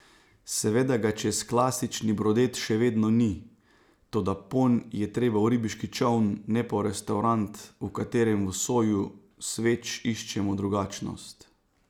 Seveda ga čez klasični brodet še vedno ni, toda ponj je treba v ribiški čoln, ne pa v restaurant, v katerem v soju sveč iščemo drugačnost.